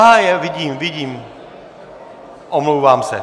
Aha, je, vidím, vidím, omlouvám se.